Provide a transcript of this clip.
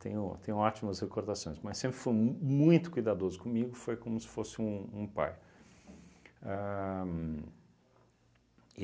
Tenho tenho ótimas recordações, mas sempre foi mu muito cuidadoso comigo, foi como se fosse um um pai. Ahn